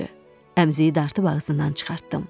Əmziyi dartıb ağzından çıxartdım.